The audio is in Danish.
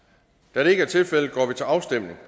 da det ikke er tilfældet går vi til afstemning